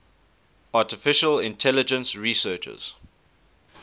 artificial intelligence researchers